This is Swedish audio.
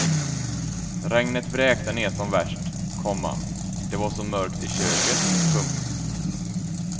Regnet vräkte ner som värst, komma det var så mörkt i köket. punkt